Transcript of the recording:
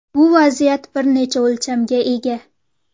Bu vaziyat bir necha o‘lchamga ega.